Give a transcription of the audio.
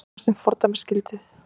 Efast um fordæmisgildið